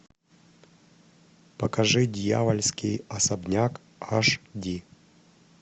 покажи дьявольский особняк аш ди